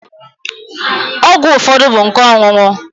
Ọgwụ ụfọdụ bụ nke ọṅụṅụ.